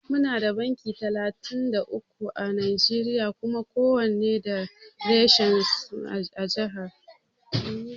Muna da banki talatin da uku à Najeriya Kuma kowanne da reshen su a jiha.